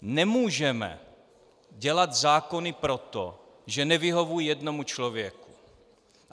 Nemůžeme dělat zákony proto, že nevyhovují jednomu člověku.